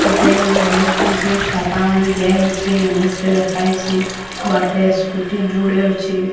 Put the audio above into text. ଦିଆ ହେଇଛି। ଇଂଲିଶ ରେ ଲେଖା ହେଇଛି। ବାଟେ ସ୍କୁଟି ଯୁଡେ ଅଛି।